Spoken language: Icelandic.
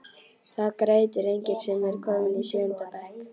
Það grætur enginn sem er kominn í sjöunda bekk.